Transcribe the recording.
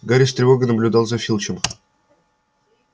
гарри с тревогой наблюдал за филчем